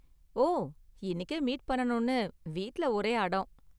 ஓ, இன்னிக்கே மீட் பண்ணனும்னு வீட்ல ஒரே அடம்.